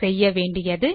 செய்ய வேண்டியது